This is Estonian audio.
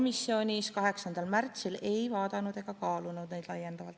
Ei, 8. aprillil komisjonis me ei vaadanud ega kaalunud neid laiemalt.